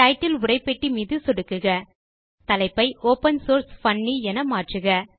title உரைப்பெட்டி மீது சொடுக்குக தலைப்பை ஒப்பன் சோர்ஸ் பன்னி என மாற்றுக